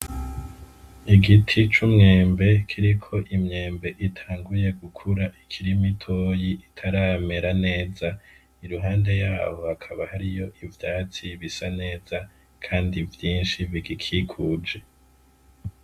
Igiti c'umwembe kiriko imyembe itanguye gukura ikiri mitoyi itaramera neza , iruhande yaho hakaba hariyo ivyatsi bisa neza kandi vyinshi bigikikuje.